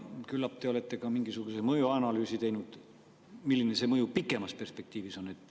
Küllap te olete ka mingisuguse mõjuanalüüsi teinud, milline see mõju pikemas perspektiivis on.